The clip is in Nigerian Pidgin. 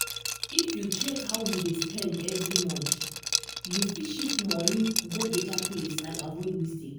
if you check how you dey spend every month you fit shift money go better place and avoid mistake.